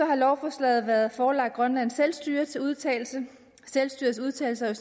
har lovforslaget været forelagt grønlands selvstyre til udtalelse selvstyrets udtalelse og